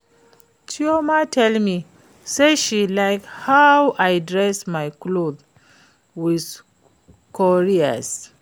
Chioma tell me say she like how I design my cloth wit cowries